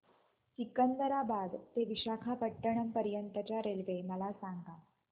सिकंदराबाद ते विशाखापट्टणम पर्यंत च्या रेल्वे मला सांगा